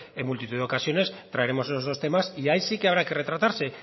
en multitud de ocasiones traeremos todos esos temas y ahí sí que habrá que retratarse